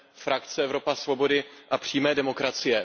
frakce Evropa svobody a přímé demokracie.